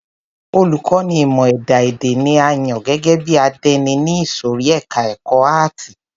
Olùkọ́ni ìmọ ẹ̀dá èdè ni a yàn gẹ́gẹ́ bí àdénì ní ìsòrí ẹka ẹ̀kọ́ àátì.